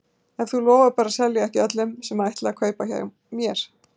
Ef þú lofar bara að selja ekki öllum sem ætla að kaupa hjá mér.